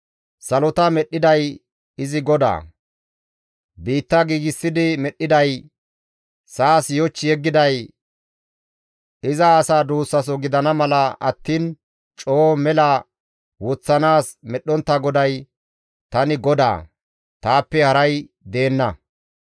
Salota medhdhiday izi GODAA; biitta giigsidi medhdhiday, sa7as yoch yeggiday, iza asa duussaso gidana mala attiin coo mela woththanaas medhdhontta GODAY, Tani GODAA; taappe haray deenna.